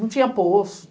Não tinha poço.